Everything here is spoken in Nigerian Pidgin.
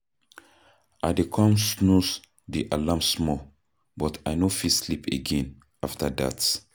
I go come snooze di alarm small, but I no fit sleep again after that.